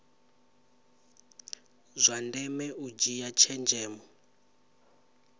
zwa ndeme u dzhia tshenzhemo